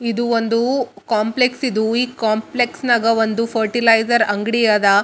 ಅಂಗಡಿಗಳು ಇವೆ ಅದರ ಮುಂದೆ ಒಂದು ಕಾರ್ ನಿಂತಿದೆ ಒಬ್ಬ ವ್ಯಕ್ತಿಯು ಕಾರಿನ ಹಿಂದುಗಡೆ ನಿಂತಿದ್ದಾರೆ ಒಬ್ಬ ಒಂದು ಒಂದು ಮರ ಕಾಣ್ತಿದೆ .